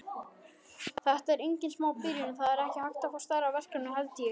Þetta er engin smá byrjun, það er ekki hægt að fá stærra verkefni held ég.